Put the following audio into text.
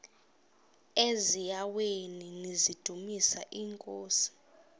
eziaweni nizidumis iinkosi